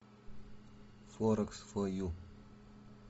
форекс фо ю